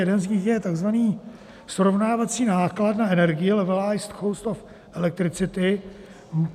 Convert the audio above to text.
Jeden z nich je tzv. srovnávací náklad na energii, levelized cost of electricity.